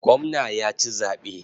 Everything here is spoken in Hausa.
Gwamna ya ci zaɓe.